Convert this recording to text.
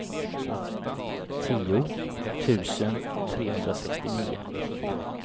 tio tusen trehundrasextionio